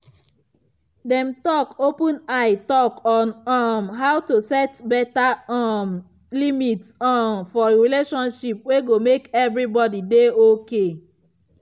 dem talk open eye talk on um how to set better um limit um for relationship wey go make everybody dey okay.